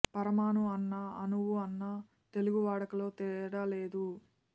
పరమాణువు అన్నా అణువు అన్నా తెలుగు వాడుకలో తేడా లేదు